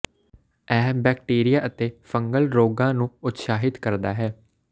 ਇਹ ਬੈਕਟੀਰੀਆ ਅਤੇ ਫੰਗਲ ਰੋਗਾਂ ਨੂੰ ਉਤਸ਼ਾਹਿਤ ਕਰਦਾ ਹੈ